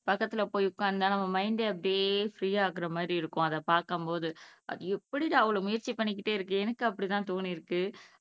பக்கத்துல போய் உக்காந்தா நம்ம மைண்ட் அப்படியே ஃப்ரீ ஆனமாதிரி இருக்கும் அதை பாக்கும்போது அது எப்படிடா அவ்வளவு முயற்சி பண்ணிகிட்டே இருக்கு எனக்கு அப்படி தான் தோணியிருக்கு